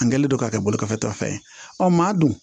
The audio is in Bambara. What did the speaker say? N kɛlen don k'a kɛ bolifɛn ta fɛn ye maa dun